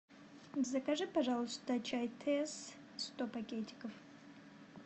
закажи пожалуйста чай тесс сто пакетиков